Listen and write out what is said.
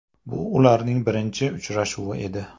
Bu ularning birinchi uchrashuvi edi.